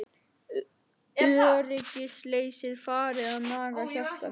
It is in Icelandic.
Öryggisleysið farið að naga hjarta mitt.